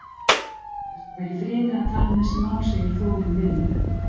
Best að vera í friði að tala um þessi mál, segir Þórunn við mig.